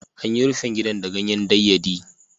An yi rufin gidan da ganyen dayyadii.